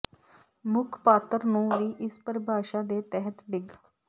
ਮੁੱਖ ਪਾਤਰ ਨੂੰ ਵੀ ਇਸ ਪਰਿਭਾਸ਼ਾ ਦੇ ਤਹਿਤ ਡਿੱਗ